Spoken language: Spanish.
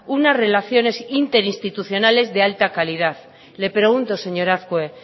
unas relaciones interinstitucionales de alta calidad le pregunto señor azkue